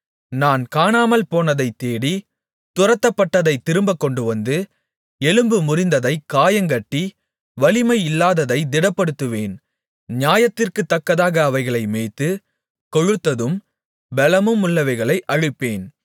நான் காணாமல்போனதைத் தேடி துரத்தப்பட்டதைத் திரும்பக் கொண்டுவந்து எலும்பு முறிந்ததைக் காயங்கட்டி வலிமை இல்லாததைத் திடப்படுத்துவேன் நியாயத்திற்குத்தக்கதாக அவைகளை மேய்த்து கொழுத்ததும் பெலமுமுள்ளவைகளை அழிப்பேன்